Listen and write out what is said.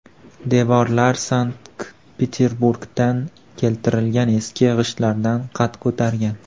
Devorlar Sankt-Peterburgdan keltirilgan eski g‘ishtlardan qad ko‘targan.